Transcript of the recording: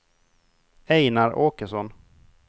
Ejnar Åkesson